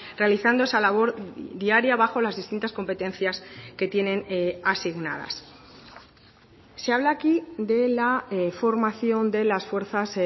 realizando esa labor diaria bajo las distintas competencias que tienen asignadas se habla aquí de la formación de las fuerzas